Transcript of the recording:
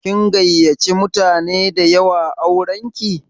Kin gayyace mutane da yawa auranki?